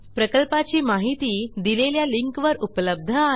प्रकल्पाची माहिती दिलेल्या लिंकवर उपलब्ध आहे